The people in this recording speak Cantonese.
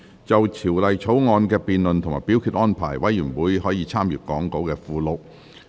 就《條例草案》的辯論及表決安排，委員可參閱講稿附錄。